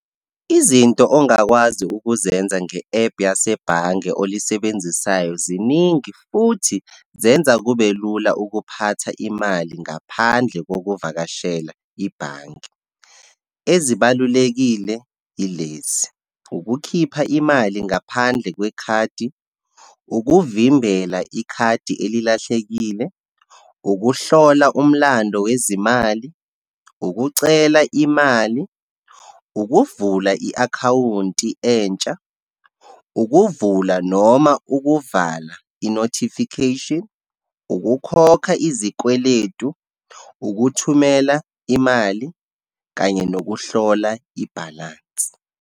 Izinto ongakwazi ukuzenza nge ephu yasebhange olisebenzisayo ziningi, futhi zenza kube lula ukuphatha imali ngaphandle kokuvakashela ibhange. Ezibalulekile yilezi, ukukhipha imali ngaphandle kwekhadi, ukuvimbela ikhadi elilahlekile, ukuhlola umlando wezimali, ukucela imali, ukuvula i-akhawunti entsha, ukuvula noma ukuvala i-notification, ukukhokha izikweletu, ukuthumela imali kanye nokuhlola ibhalansi.